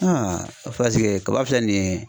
kaba filɛ nin ye